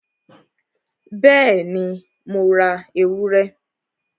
Bẹ́ẹ̀ni, Mo ra ewúrẹ?